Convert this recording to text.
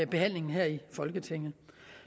behandlingen i folketinget